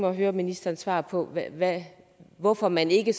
at høre ministerens svar på hvorfor man ikke